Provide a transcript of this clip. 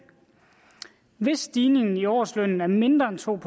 hvis stigningen i årslønnen er mindre en to